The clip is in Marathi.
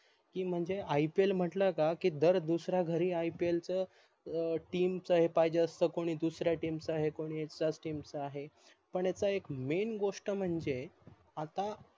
की म्हणजे IPL म्हटल का की दर दुसऱ्या घरी IPL च team च हे पाहिजे असत कोणी दुसऱ्या team च आहे कोणी त्याच team च आहे पन याच एक main गोष्ट म्हणजे आता